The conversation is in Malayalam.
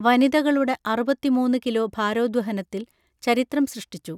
വനിതകളുടെ അറുപത്തിമൂന്ന് കിലോ ഭാരോദ്വഹനത്തിൽ ചരിത്രം സൃഷ്ടിച്ചു